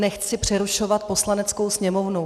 Nechci přerušovat Poslaneckou sněmovnu.